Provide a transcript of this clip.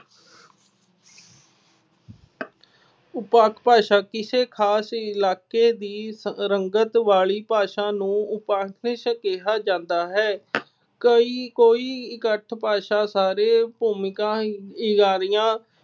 ਉਪਵਾਕ ਭਾਸ਼ਾ- ਕਿਸੇ ਖਾਸ ਇਲਾਕੇ ਦੀ ਸ ਅਹ ਰੰਗਤ ਵਾਲੀ ਭਾਸ਼ਾ ਨੂੰ ਉਪਵਾਕ ਭਾਸ਼ਾ ਕਿਹਾ ਜਾਂਦਾ ਹੈ। ਕਈ ਕੋਈ ਇਕੱਠ ਭਾਸ਼ਾ ਸਾਰੇ ਭੂਮਿਕਾ, ਹਿੰਗਾਰੀਆਂ